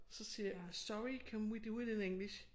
Så siger jeg sorry can we do it in English